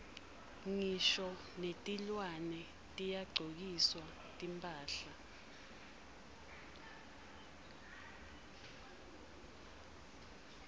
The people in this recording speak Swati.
ngisho netilwane tiyagcokiswa timphahla